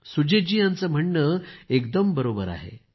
सुजीत जी यांचं म्हणणं एकदम बरोबर आहे